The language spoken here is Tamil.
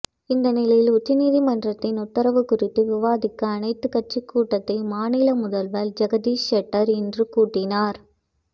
இந்த நிலையில் உச்சநீதிமன்றத்தின் உத்தரவு குறித்து விவாதிக்க அனைத்து கட்சி கூட்டத்தை மாநில முதல்வர் ஜெகதீஷ் ஷெட்டர் இன்று கூட்டினார்